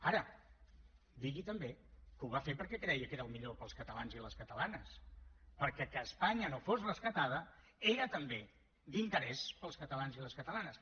ara digui també que ho va fer perquè creia que era el millor per als catalans i les catalanes perquè que espanya no fos rescatada era també d’interès per als catalans i les catalanes